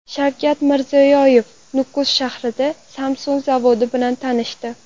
Shavkat Mirziyoyev Nukus shahridagi Samsung zavodi bilan tanishdi.